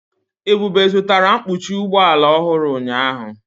Ebube zụtara mkpuchi ụgbọ ala ọhụrụ ụnyahụ.